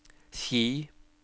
Ski